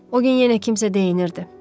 O gün yenə kimsə deyinirdi.